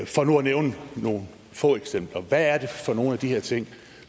nævne nogle få eksempler hvad er det for nogle af de her ting